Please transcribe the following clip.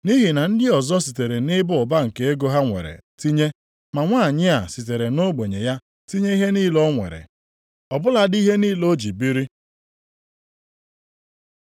Nʼihi na ndị ọzọ sitere nʼịba ụba nke ego ha nwere tinye, ma nwanyị a sitere nʼogbenye ya tinye ihe niile o nwere, ọ bụladị ihe niile o ji biri.”